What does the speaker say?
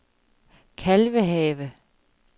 Kalvehave